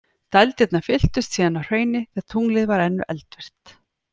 Dældirnar fylltust síðan af hrauni þegar tunglið var enn eldvirkt.